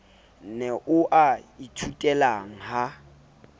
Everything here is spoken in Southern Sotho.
ne o a ithutelang ha